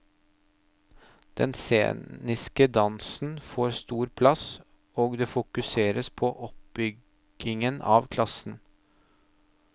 Den sceniske dansen får stor plass, og det fokuseres på oppbyggingen av klassen.